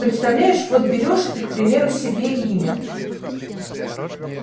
представляешь вот берёшь ты к примеру себе имя